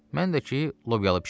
Mən də ki, lobyalı bişirdim.